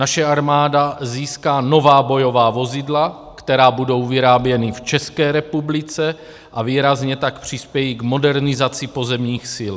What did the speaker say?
Naše armáda získá nová bojová vozidla, která budou vyráběna v České republice, a výrazně tak přispějí k modernizaci pozemních sil.